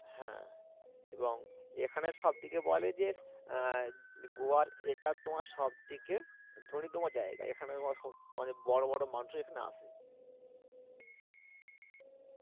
হ্যা এবং এখানে সবথেকে বলে যে আহ গোয়ার এটা তোমার সবথেকে ধনীতম জায়গা এখানে তোমার স~ মানে বড় বড় মানুষও এখানে আসে